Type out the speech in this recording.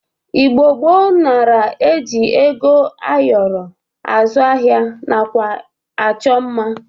Igbo gboo nara e ji ego ayọrọ azụ ahịa nakwa achọ mma.